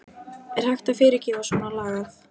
Er hægt að fyrirgefa svona lagað?